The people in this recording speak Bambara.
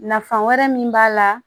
Nafan wɛrɛ min b'a la